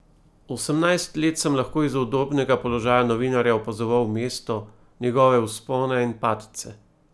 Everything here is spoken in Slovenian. Osemnajst let sem lahko iz udobnega položaja novinarja opazoval mesto, njegove vzpone in padce.